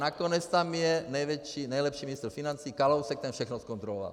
Nakonec tam je nejlepší ministr financí Kalousek, ten všechno zkontroloval.